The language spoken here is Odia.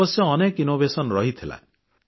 ଅବଶ୍ୟ ଅନେକ ଆବିଷ୍କାର ରହିଥିଲା